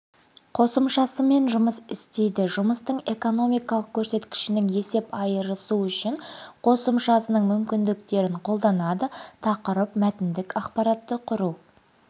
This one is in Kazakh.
қосымшасымен жұмыс істейді жұмыстың экономикалық көрсеткішінің есеп айрысуы үшін қосымшасының мүмкіндіктерін қолданады тақырып мәтіндік ақпаратты құру